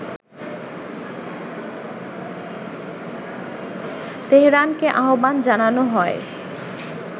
তেহরানকে আহ্বান জানানো হয়